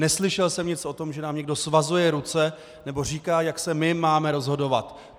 Neslyšel jsem nic o tom, že nám někdo svazuje ruce nebo říká, jak se my máme rozhodovat.